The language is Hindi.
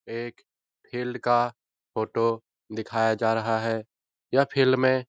एक फील्ड का फोटो दिखाया जा रहा है यह फील्ड में --